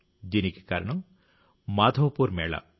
దీనికి కారణం మాధవ్పూర్ మేళా